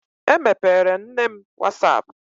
Emepeere m nne m was ap.